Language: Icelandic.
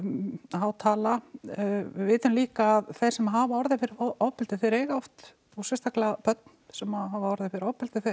há tala við vitum líka að þeir sem hafa orðið fyrir ofbeldi þeir eiga oft og sérstaklega börn sem hafa orðið fyrir ofbeldi